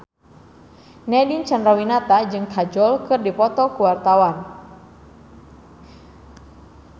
Nadine Chandrawinata jeung Kajol keur dipoto ku wartawan